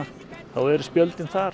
eru spjöldin þar